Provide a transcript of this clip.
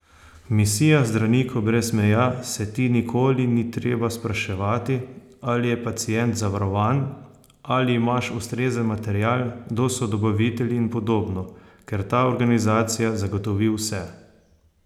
V misijah Zdravnikov brez meja se ti nikoli ni treba spraševati, ali je pacient zavarovan, ali imaš ustrezen material, kdo so dobavitelji in podobno, ker ta organizacija zagotovi vse.